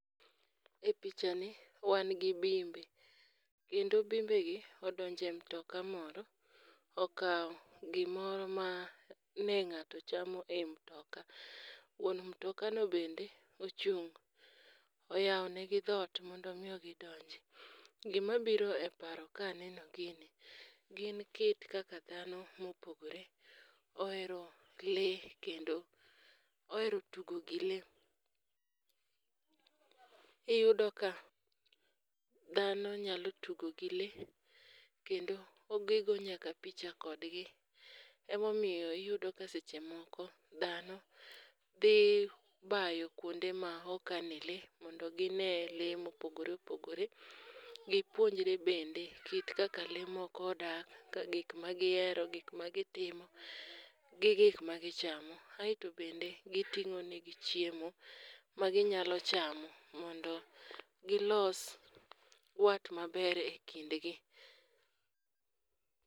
E pichani, wan gi bimbe, kendo bimbegi odonjo e mtoka moro, okawo gimoro mane ng'ato chamo e mtoka. Wuon mtokano bende ochung',oyawo negi dhot mondo omi gidonj. Gimabiro e paro kaneno gini, gi kit dhano mopogore ohero lee kendo ohero tugo gi lee, iyudo ka dhano nyalo tugo gi lee, kendo gigo nyaka picha kodgi, emomiyo iyudo ka seche moko ,dhano dhi bayo kwonde ma okane lee mondo ginee lee mopogore opogore, gipuonjre bende kit kaka lee moko odak, gik magihero gik magitimo, gi gik magichamo. aeto bende giting'o negi chiemo maginyalo chamo mondo gilos wat maber e kindgi.